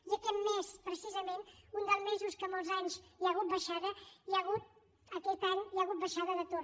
i aquest mes precisament un dels mesos que molts anys hi ha hagut baixada hi ha hagut aquest any baixada d’atur